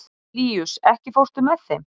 Líus, ekki fórstu með þeim?